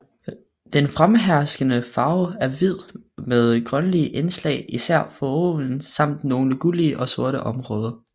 Den fremherskende farve er hvid med grønlige indslag især foroven samt nogle gullige og sorte områder